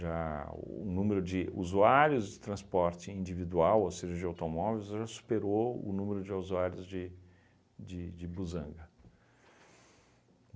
Já o número de usuários de transporte individual, ou seja, de automóveis, já superou o número de usuários de de de busanga.